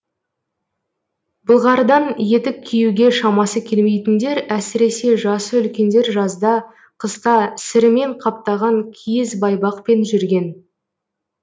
былғарыдан етік киюге шамасы келмейтіндер әсіресе жасы үлкендер жазда қыста сірімен қаптаған киіз байпақпен жүрген